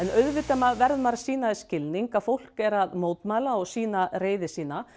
auðvitað verður maður að sýna því skilning að fólk er að mótmæla og sýna reiði sína